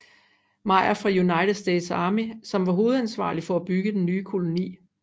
Meyer fra United States Army som var hovedansvarlig for at bygge den nye koloni